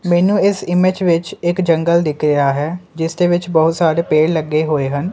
ਮੈਨੂੰ ਇਸ ਇਮੇਜ ਵਿੱਚ ਇੱਕ ਜੰਗਲ ਦਿਖ ਰਿਹਾ ਹੈ ਜਿਸ ਦੇ ਵਿੱਚ ਬਹੁਤ ਸਾਰੇ ਪੇੜ ਲੱਗੇ ਹੋਏ ਹਨ।